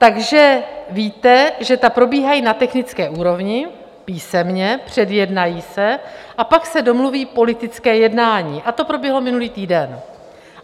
Takže víte, že ta probíhají na technické úrovni, písemně, předjednají se a pak se domluví politické jednání, a to proběhlo minulý týden.